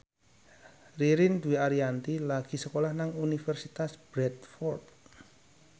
Ririn Dwi Ariyanti lagi sekolah nang Universitas Bradford